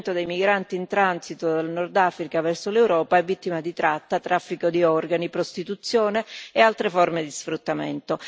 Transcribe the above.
dei migranti in transito dal Nord Africa verso l'Europa è vittima di tratta, traffico di organi, prostituzione e altre forme di sfruttamento.